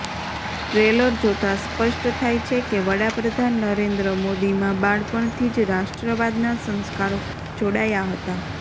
trailer જોતા સ્પષ્ટ થાય છે કે વડાપ્રધાન નરેન્દ્ર મોદીમાં બાળપણથી જ રાષ્ટ્રવાદના સંસ્કારો જોડાયા હતા